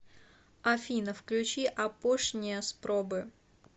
афина включи апошния спробы